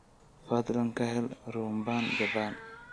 fadlan ka hel rhumbaan japan